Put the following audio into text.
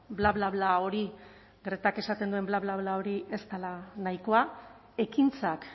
bla bla bla bla bla bla gretak esaten duen bla bla bla hori ez dela nahikoa ekintzak